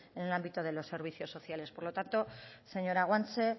en el ámbito de los servicios sociales por lo tanto señora guanche